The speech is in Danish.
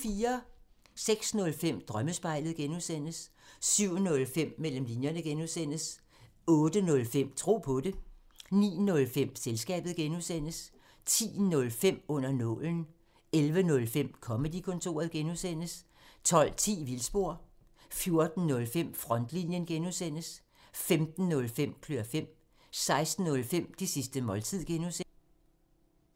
06:05: Drømmespejlet (G) 07:05: Mellem linjerne (G) 08:05: Tro på det 09:05: Selskabet (G) 10:05: Under nålen 11:05: Comedy-kontoret (G) 12:10: Vildspor 14:05: Frontlinjen (G) 15:05: Klør fem 16:05: Det sidste måltid (G)